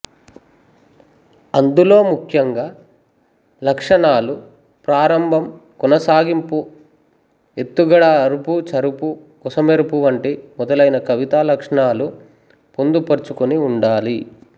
అందులో ముఖ్యంగా లక్షణాలు ప్రారంభంకొనసాగింపుఎత్తుగడఅరుపుచరుపు కొస మెరుపు వంటి మొదలైన కవితా లక్షణాలు పొందుపరుచుకుని ఉండాలి